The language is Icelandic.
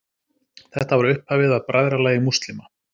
Þetta var upphafið að Bræðralagi múslíma.